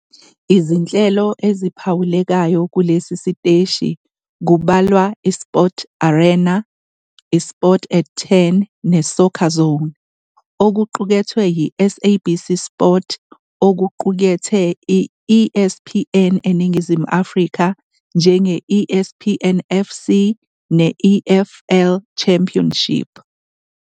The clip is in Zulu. Izinhlelo eziphawulekayo kulesi siteshi kubalwa iSport Arena, iSport @ 10 neSoccerzone. Okuqukethwe yi-SABC SPORT okuqukethe i-ESPN eNingizimu Afrika njenge-ESPN FC ne-EFL Championship